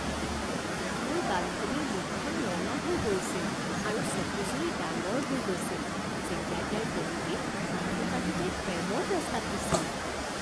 মোৰ বান্ধৱীৰ মুখখন ৰঙা হৈ পৰিছিল আৰু চকুযুৰি ডাঙৰ হৈ গৈছিল যেতিয়া তাইৰ প্ৰেমিকে আঁঠুকাঢ়ি তাইক প্ৰেমৰ প্ৰস্তাৱ দিছিল